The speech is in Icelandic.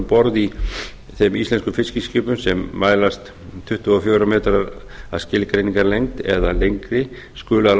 borð í þeim íslensku fiskiskipum sem mælast tuttugu og fjórir metrar að skilgreiningarlengd eða lengri skuli að